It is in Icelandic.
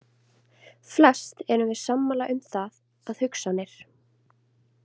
Flest erum við sammála um það að hugsanir.